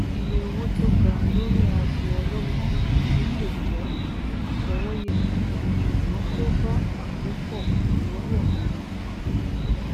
ìye owó tó ga lórí aago ọlọgbọn tuntun lè jẹ àfọwọyẹ ṣùgbọn kò bá àkópọ ináwó mi mu